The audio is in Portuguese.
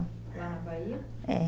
Lá na Bahia? É.